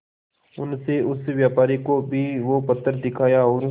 उनसे उस व्यापारी को भी वो पत्थर दिखाया और